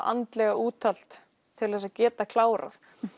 andlega úthald til að geta klárað